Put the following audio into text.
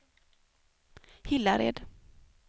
Hillared